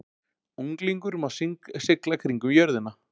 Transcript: Unglingur má sigla kringum jörðina